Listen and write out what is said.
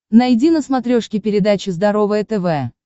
найди на смотрешке передачу здоровое тв